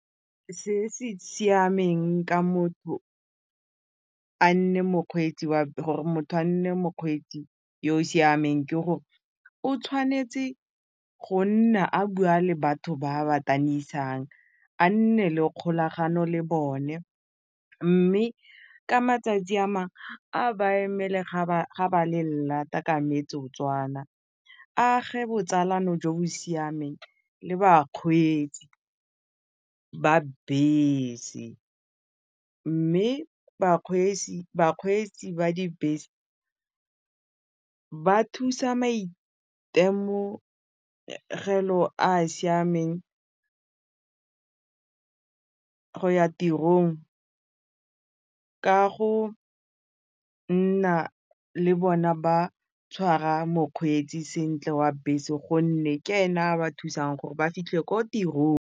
Se se siameng ka motho a nne mokgweetsi gore motho a nne mokgweetsi yo o siameng ke gore o tshwanetse go nna a bua le batho ba a ba a nne le kgolagano le bone mme ka matsatsi a a ba emele ba ga ba le ka metsotswana a age botsalano jo bo siameng le bakgweetsi ba bese mme bakgweetsi ba dibese ba thusa maitemogelo a a siameng go ya tirong ka go nna le bona ba tshwara mokgweetsi sentle wa bese gonne ke ene a ba thusang gore ba fitlhele ko tirong.